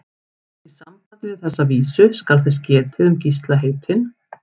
Í sambandi við þessa vísu skal þess getið um Gísla heitinn